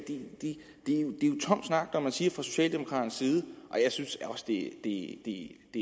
tom snak når man siger fra socialdemokraternes side jeg synes også at det